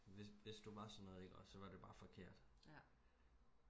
hvis hvis du var sådan noget ikke også så var det bare forkert